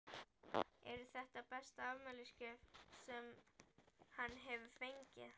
Eru þetta besta afmælisgjöf sem hann hefur fengið?